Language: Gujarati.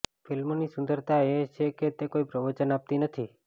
ફિલ્મની સુંદરતા એ છે કે તે કોઈ પ્રવચન આપતી નથી